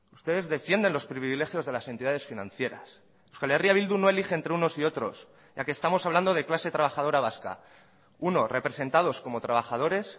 ustedes defienden los privilegios de las entidades financieras euskal herria bildu no elige entre unos y otros ya que estamos hablando de clase trabajadora vasca unos representados como trabajadores